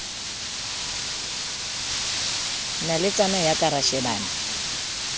naletsana ya ka ra shebana